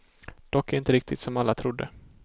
Dock inte riktigt som alla trodde.